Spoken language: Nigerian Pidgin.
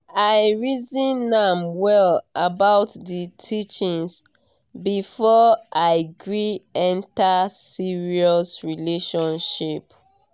i reason am well about d teachings before i gree enter serious relationship.